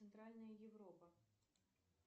центральная европа